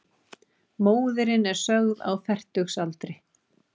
Móðirin er sögð á fertugsaldri